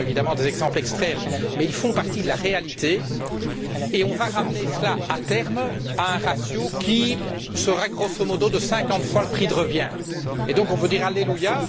Ce sont évidemment des exemples extrêmes mais ils font partie de la réalité et nous allons ramener cela, à terme, à un ratio qui sera grosso modo de 50 fois le prix de revient. On peut donc dire Alléluia!